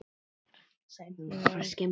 Hrafn Oddsson